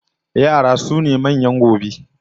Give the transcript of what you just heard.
Yara sune manyan gobe